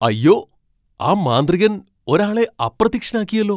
അയ്യോ, ആ മാന്ത്രികൻ ഒരാളെ അപ്രത്യക്ഷനാക്കിയെല്ലോ!